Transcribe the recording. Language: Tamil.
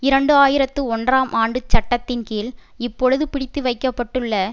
இரண்டு ஆயிரத்து ஒன்றாம் ஆண்டு சட்டத்தின் கீழ் இப்பொழுது பிடித்துவைக்கப்பட்டுள்ள